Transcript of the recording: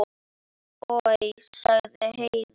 Oj, sagði Heiða.